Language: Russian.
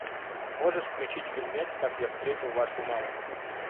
можешь включить фильмец как я встретил вашу маму